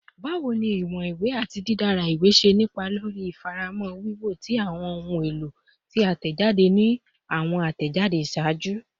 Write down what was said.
Bawo ni iwọn iwe ati didara iwe ṣe ni ipa lori ifamọra wiwo ti awọn ohun elo ti a tẹjade ni awọn atẹjade iṣaaju?